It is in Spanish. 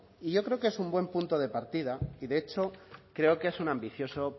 y yo creo que es un buen punto de partida y de hecho creo que es un ambicioso